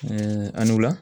Ɛɛ anula